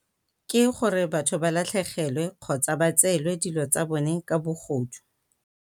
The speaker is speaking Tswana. Ke gore batho ba latlhegelwe kgotsa ba tseelwe dilo tsa bone ka bogodu.